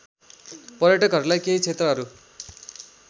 पर्यटकहरूलाई केही क्षेत्रहरू